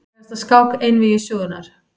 Frægasta skák einvígi sögunnar.